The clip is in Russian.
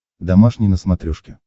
домашний на смотрешке